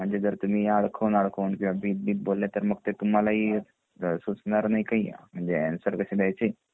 म्हणजे जर तुम्ही अडकून अडकून किंवा भीत भीत बोलले तर ते तुम्हाला ही सुचणार नाही काही म्हणजे आन्सर कसे द्यायचे